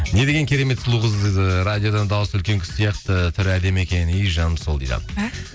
не деген керемет сұлу қыз радиодан дауысы үлкен кісі сияқты түрі әдемі екен ей жаным сол дейді